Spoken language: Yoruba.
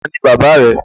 Taàní bàbá rẹ?